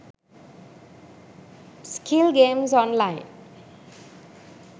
skill games online